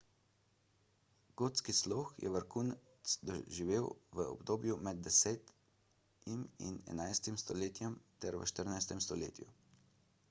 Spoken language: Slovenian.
gotski slog je vrhunec doživel v obdobju med 10 in 11 stoletjem ter v 14 stoletju